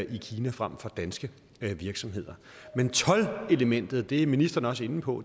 i kina frem for danske virksomheder men toldelementet og det er ministeren også inde på